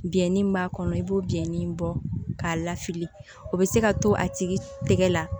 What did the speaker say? Biyɛn dimi min b'a kɔnɔ i b'o biyɛnnin bɔ k'a lafili o bɛ se ka to a tigi tɛgɛ la